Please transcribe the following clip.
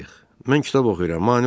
Mən kitab oxuyuram, mane olmayın.